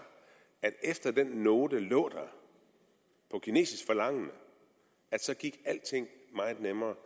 at efter at den note lå der på kinesisk forlangende gik alting meget nemmere